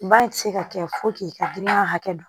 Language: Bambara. Ba ti se ka kɛ fo k'i ka danaya hakɛ don